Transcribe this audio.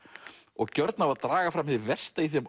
og gjörn á að draga fram hið versta í þeim